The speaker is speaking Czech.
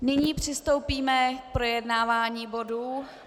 Nyní přistoupíme k projednávání bodů.